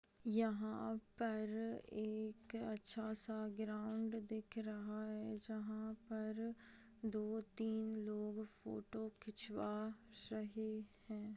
यहाँ पर एक अच्छा सा ग्राउंड दिख रहा है जहा पर दो तीन लोग फोटो खिचवा रहे हैं ।